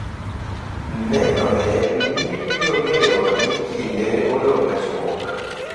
nenore ni gibiro ng’eyo ni kinde odong' machuok.